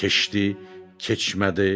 Keçdi, keçmədi.